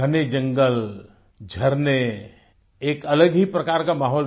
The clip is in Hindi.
घने जंगल झरने एक अलग ही प्रकार का माहौल